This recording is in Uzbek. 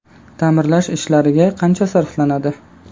Ta’mirlash ishlariga qancha sarflanadi?